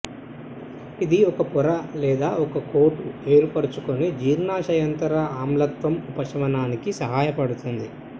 ఇది ఒక పొర లేదా ఒక కోటు ఏర్పరుచుకొని జీర్ణశయాంతర ఆమ్లత్వం ఉపశమనానికి సహాయపడుతుంది